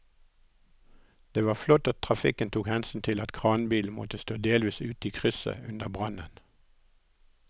Det var flott at trafikken tok hensyn til at kranbilen måtte stå delvis ute i krysset under brannen.